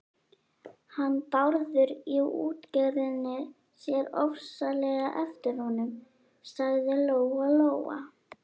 Hann Bárður í útgerðinni sér ofsalega eftir honum, sagði Lóa Lóa.